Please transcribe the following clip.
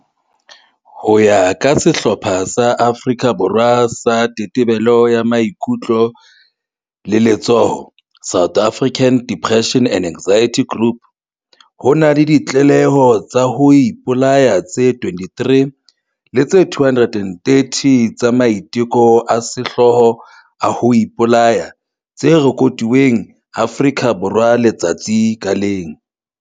Ho ya ka sehlopha sa Afrika Borwa sa Tetebelo ya Maikutlo le Letshoho, SADAG, ho na le ditlaleho tsa ho ipolaya tse 23 le tse 230 tsa maiteko a sehloho a ho ipolaya tse rekotuweng Afrika Borwa letsatsi ka leng.